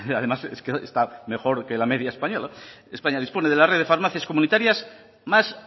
además está mejor que la media española españa dispone de la red de farmacias comunitarias más